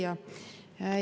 Hea küsija!